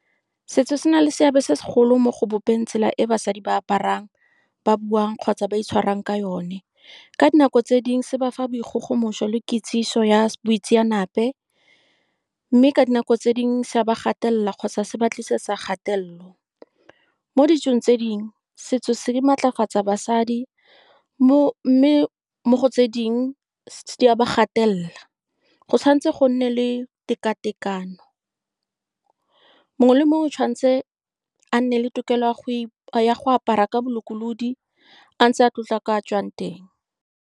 Setso se na le seabe se segolo mo go bopeng tsela e basadi ba aparang, ba buang, kgotsa ba itshwarang ka yone. Ka dinako tse dingwe, se ba fa boikgogomoso le kitsiso ya boitseanape, mme ka dinako tse dingwe se a ba gatelela kgotsa se ba tlisetsa kgatelelo. Mo ditsong tse dingwe, setso se, di matlafatsa basadi, mo mme mo go tse dingwe di a ba gatelela. Go tshwanetse go nne le teka-tekano, mongwe le mongwe o tshwanetse a nne le tokelo ya go apara ka bolokolodi, a ntse a tlotla kwa a tswang teng.